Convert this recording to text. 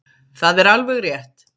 Það er alveg rétt.